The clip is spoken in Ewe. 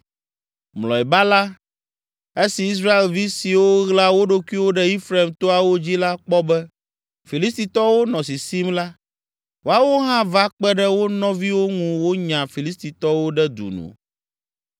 Mlɔeba la, esi Israelvi siwo ɣla wo ɖokuiwo ɖe Efraim toawo dzi la kpɔ be Filistitɔwo nɔ sisim la, woawo hã va kpe ɖe wo nɔviwo ŋu wonya Filistitɔwo ɖe du nu.